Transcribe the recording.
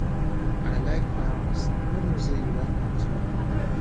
i like flowers i no know say you like am too